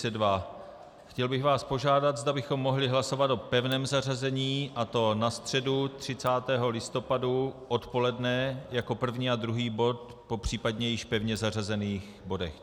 Chtěl bych vás požádat, zda bychom mohli hlasovat o pevném zařazení, a to na středu 30. listopadu odpoledne jako první a druhý bod, případně po již pevně zařazených bodech.